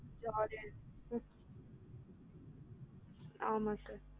ம் ஆமா sir